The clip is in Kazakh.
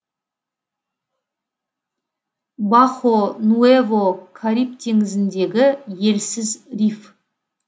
бахо нуэво кариб теңізіндегі елсіз риф